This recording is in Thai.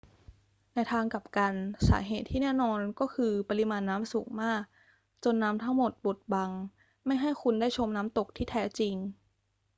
ในทางกลับกัน สาเหตุที่แน่นอนก็คือปริมาณน้ำสูงมากจนน้ำทั้งหมดบดบังไม่ให้คุณได้ชมน้ำตกที่แท้จริง